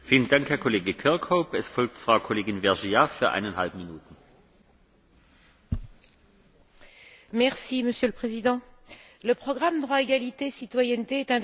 Monsieur le Président, le programme Droit, égalité, citoyenneté est un des beaux programmes de l'Union européenne et le texte soumis au vote du Parlement européen sort amélioré, de façon substantielle, de nos discussions.